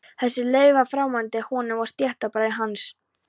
Þessi leið var framandi honum og stéttarbræðrum hans.